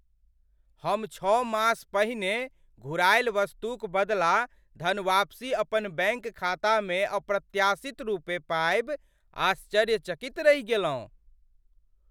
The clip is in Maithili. हम छओ मास पहिने घुरायल वस्तुक बदला धनवापसी अपन बैङ्क खातामे अप्रत्याशित रूपे पाबि आश्चर्यचकित रहि गेलहुँ।